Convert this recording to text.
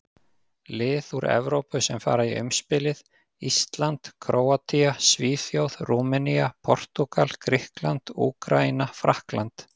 Lið úr Evrópu sem fara í umspilið: Ísland, Króatía, Svíþjóð, Rúmenía, Portúgal, Grikkland, Úkraína, Frakkland.